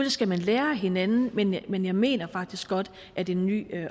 skal man lære af hinanden men jeg men jeg mener faktisk godt at en ny